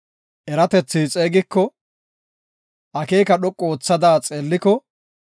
Eratethi xeegiko; akeeka dhoqu oothada xeegiko;